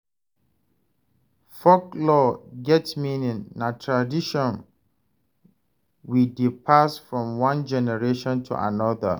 Folklore get meaning, na tradition we dey pass from one generation to another.